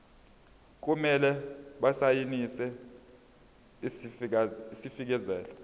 kumele basayine isifakazelo